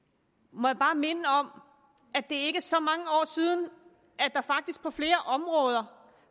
må jeg bare minde om at det ikke er så mange år siden at der faktisk på flere områder